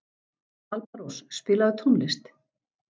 Alparós, spilaðu tónlist.